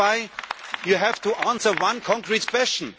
That is why you have to answer one concrete question.